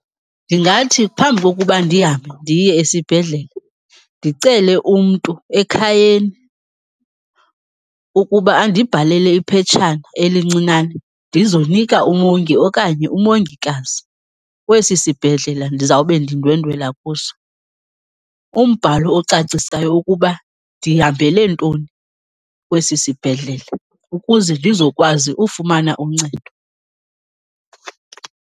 Ndingathi phambi kokuba ndihambe ndiye esibhedlele ndicele umntu ekhayeni ukuba andibhalele iphetshana elincinane ndizonika umongi okanye umongikazi kwesi sibhedlele ndizawube ndindwendwela kuso. Umbhalo ocacisayo ukuba ndihambele ntoni kwesi sibhedlele ukuze ndizokwazi ufumana uncedo.